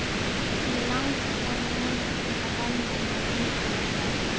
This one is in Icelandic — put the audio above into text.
Mig langaði meira til að velja mér vinkonur sjálf.